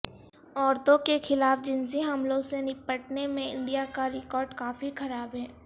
عورتوں کے خلاف جنسی حملوں سے نپٹنے میں انڈیا کا ریکارڈ کافی خراب ہے